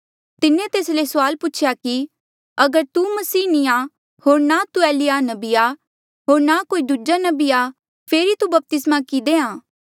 तिन्हें तेस ले सुआल पूछेया कि अगर तू मसीह नी आ होर ना तू एलिय्याह नबी आ होर ना कोई दूजा नबी आ फेरी तू बपतिस्मा कि देहां